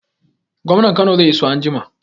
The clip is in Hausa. Gwamnan Kano zai iso anjima